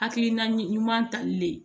Hakilina ɲuman tali le